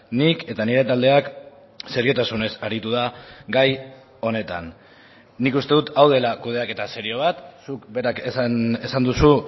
nik eta nire taldeak seriotasunez aritu da gai honetan nik uste dut hau dela kudeaketa serio bat zuk berak esan duzu